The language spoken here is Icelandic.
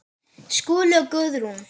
Skúli og Guðrún.